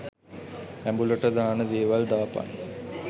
ඇඹුලට දාන දේවල් දාපන්.